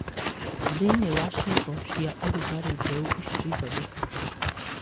Thĩinĩ wa icigo cia ũrugarĩ mbeũ icio ithondekagwo